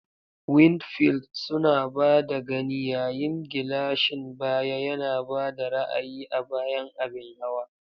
Windfield suna ba da gani, yayin gilashin baya yana ba da ra'ayi a bayan abin hawa.